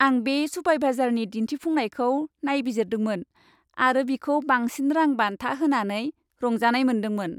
आं बे सुपारभाइजारनि दिन्थिफुंनायखौ नायबिजिरदोंमोन आरो बिखौ बांसिन रां बान्था होनानै रंजानाय मोनदोंमोन।